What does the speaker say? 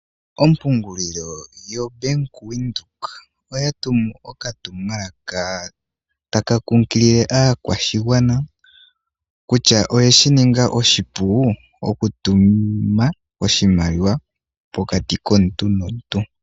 Ompungulilo yoBank Windhoek oya tumu okatumwalaka taka kunkilile aakwashigwana kutya oyeshi ninga oshipu oku tuma oshimaliwa pokati komuntu nomuntu.